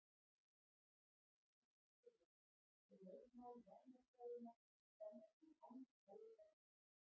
Það reyndist ekki rétt og lögmál varmafræðinnar standa því enn óhögguð.